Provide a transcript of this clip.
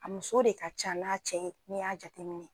A muso de ka ca n'a cɛ ye n'i y'a jate minɛ.